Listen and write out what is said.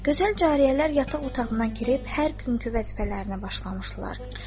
Gözəl cariyələr yataq otağına girib hər günkü vəzifələrinə başlamışdılar.